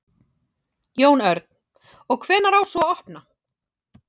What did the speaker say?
Jón Örn: Og hvenær á svo að opna?